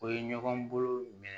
O ye ɲɔgɔn bolo minɛ